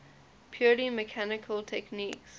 purely mechanical techniques